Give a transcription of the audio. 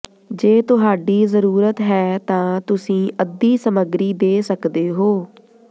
ਜੇ ਤੁਹਾਡੀ ਜ਼ਰੂਰਤ ਹੈ ਤਾਂ ਤੁਸੀਂ ਅੱਧੀ ਸਮੱਗਰੀ ਦੇ ਸਕਦੇ ਹੋ